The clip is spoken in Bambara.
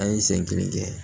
An ye sen kelen kɛ